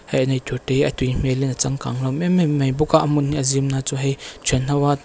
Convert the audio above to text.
he an eitur te hi a tui hmel in a changkang hlawm emem mai bawk a a hmun hi a zim na chu hei thianho a--